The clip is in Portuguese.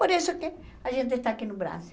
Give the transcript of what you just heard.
Por isso que a gente está aqui no Brasil.